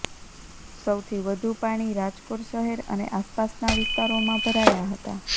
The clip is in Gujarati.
સૌથી વધુ પાણી રાજકોટ શહેર અને આસપાસના વિસ્તારોમાં ભરાયા હતા